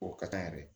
O ka kan yɛrɛ